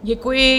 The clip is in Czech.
Děkuji.